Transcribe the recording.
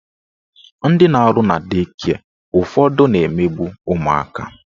Ndị na-arụ na dei kịe ụfọdụ na-emegbu ụmụaka